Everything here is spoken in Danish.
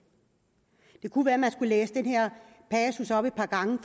kunne være at man skulle læse den her passus op et par gange